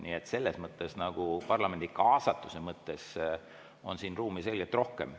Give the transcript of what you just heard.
Nii et parlamendi kaasatuse mõttes on siin ruumi selgelt rohkem.